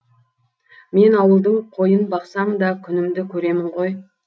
мен ауылдың қойын бақсам да күнімді көремін ғой